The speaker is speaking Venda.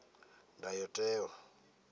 ndayotewa